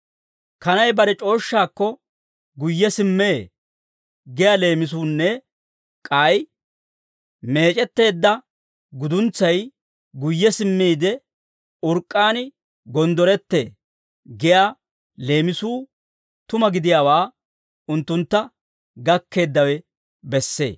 «Kanay bare c'ooshshaakko guyye simmee» giyaa leemisuunne k'ay, «Meec'etteedda guduntsay guyye simmiide, urk'k'aan gonddorettee» giyaa leemisuu tuma gidiyaawaa unttuntta gakkeeddawe bessee.